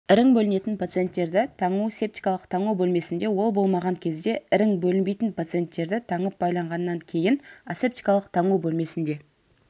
ірің бөлінетін пациенттерді таңу септикалық таңу бөлмесінде ол болмаған кезде ірің бөлінбейтін пациенттерді таңып-байлағаннан кейін асептикалық таңу бөлмесінде